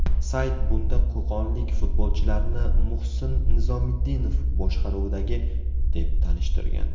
Sayt bunda qo‘qonlik futbolchilarni Muhsin Nizomiddinov boshqaruvidagi, deb tanishtirgan.